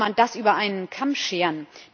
Wie kann man das über einen Kamm scheren?